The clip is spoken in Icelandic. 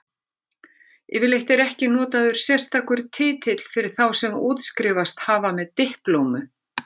Yfirleitt er ekki notaður sérstakur titill fyrir þá sem útskrifast hafa með diplómu.